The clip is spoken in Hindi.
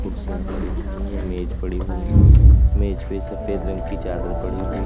कुर्सियां पड़ी हुई हैं मेज पड़ी हुई हैं मेज पे सफेद रंग की चादर पड़ी हुई--